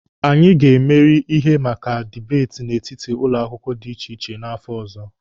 Anyị ga-emeri na ihe maka dibeeti n'etiti ụlọ akwụkwọ dị iche iche n'afọ ọzọ.